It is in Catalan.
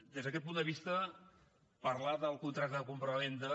des d’aquest punt de vista parlar del contracte de compravenda